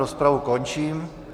Rozpravu končím.